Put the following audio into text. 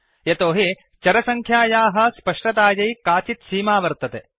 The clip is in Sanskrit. यतोहि चरसङ्ख्यायाः स्पष्टतायै काचित् सीमा वर्तते